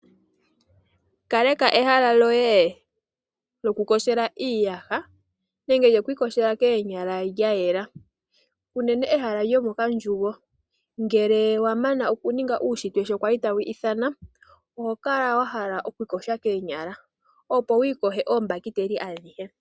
Kaleka ehala lyoye lyokuyogela iiyaha nenge lyokwiiyogela koonyala lya yela. Unene ehala lyomomandjugo, ngele wa mana okuninga uunshitwe sho wa li tawu ithana, oho kala wa hala okwiiyoga koonyala, opo wu iyoge oombahiteli adhihe.